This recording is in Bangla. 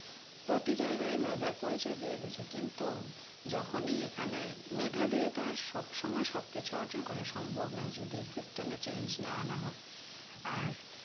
প্রতি জায়গায় মেধার পরিচয় দিয়ে গেছে কিন্তু যখনি এখানে মেধা দিয়ে তো আর সবসময় সবকিছু অর্জন করা সম্ভব নয যদি system এ change না আনা হয় আর